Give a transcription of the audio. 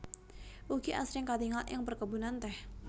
Ugi asring katingal ing perkebunan teh